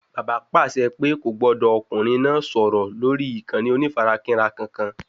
Bàbá pàṣẹ pé kò gbọdọ̀ ọkùnrin náà sọ̀rọ̀ lórí ìkànnì onífarakínra kankan